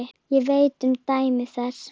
Ég veit um dæmi þess.